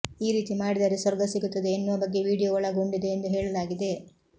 ಈ ರೀತಿ ಮಾಡಿದರೆ ಸ್ವರ್ಗ ಸಿಗುತ್ತದೆ ಎನ್ನುವ ಬಗ್ಗೆ ವಿಡಿಯೋ ಒಳಗೊಂಡಿದೆ ಎಂದು ಹೇಳಲಾಗಿದೆ